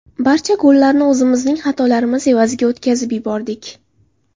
Barcha gollarni o‘zimizning xatolarimiz evaziga o‘tkazib yubordik.